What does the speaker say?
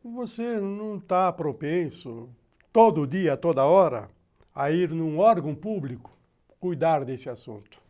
você não está propenso, todo dia, toda hora, a ir num órgão público cuidar desse assunto.